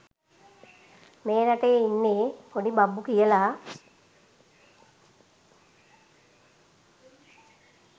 මේ රටේ ඉන්නේ පොඩි බබ්බු කියල